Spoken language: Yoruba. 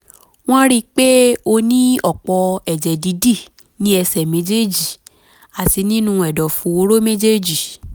wọ́n rí i pé ó ní ọ̀pọ̀ ẹ̀jẹ̀ dídì ní ẹ̀sẹ̀ méjèèjì àti nínú ẹ̀dọ̀fóró méjèèjì